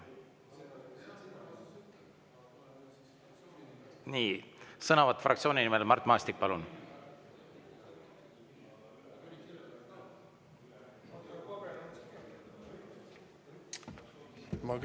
Nii, sõnavõtt fraktsiooni nimel, Mart Maastik, palun!